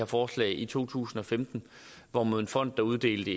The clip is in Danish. forslag i to tusind og femten hvorimod en fond der uddelte